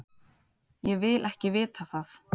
Ég vil ekki vita það.